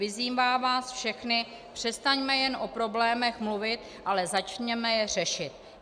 Vyzývám vás všechny - přestaňme jen o problémech mluvit, ale začněme je řešit.